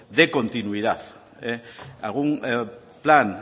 de continuidad algún plan